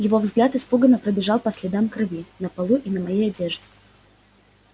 его взгляд испуганно пробежал по следам крови на полу и на моей одежде